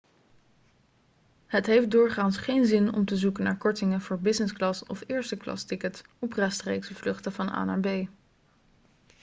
het heeft doorgaans geen zin om te zoeken naar kortingen voor business class of eersteklastickets op rechtstreekse vluchten van a naar b